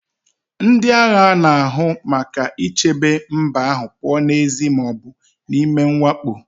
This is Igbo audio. Ndị agha na-ahụ maka ichebe mba ahụ pụọ n'èzí ma ọ bụ n'ime mwakpo